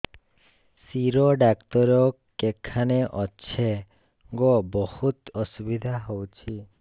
ଶିର doctor କେଖାନେ ଅଛେ ଗୋ ବହୁତ୍ ଅସୁବିଧା ହଉଚି